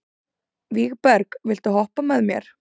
Vígberg, viltu hoppa með mér?